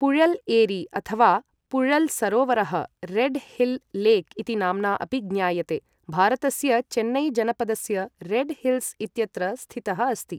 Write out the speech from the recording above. पुलल् एरि अथ वा पुय़ल् सरोवरः, रेड् हिल् लेक् इति नाम्ना अपि ज्ञायते, भारतस्य चेन्नै जनपदस्य रेड हिल्स् इत्यत्र स्थितः अस्ति।